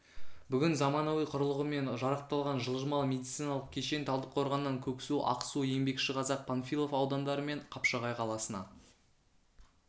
бүгін заманауи құрылғымен жарақталған жылжымалы медициналық кешен талдықорғаннан көксу ақсу еңбекшіқазақ панфилов аудандары мен қапшағай қаласына